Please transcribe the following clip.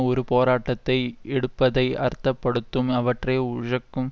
ஒரு போராட்டத்தை எடுப்பதை அர்த்தப்படுத்தும் அவற்றை உழக்கும்